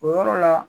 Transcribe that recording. O yɔrɔ la